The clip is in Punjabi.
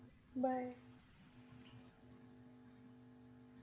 Bye